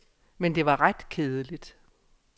Men det var ret kedeligt.